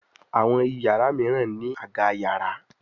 Àwọn iyàrá míràn ní Àga yàrá.